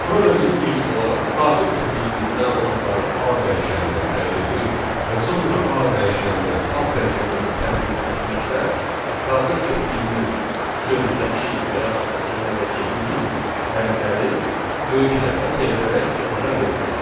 Burada biz ilk olaraq daxil etdiyimiz məlumatları A dəyişəninə təyin edirik və sonra A dəyişəninə upper metodunu tətbiq etməklə daxil etdiyimiz sözdəki və yaxud da cümlədəki bütün hərfləri böyük hərfə çevirərək ekrana veririk.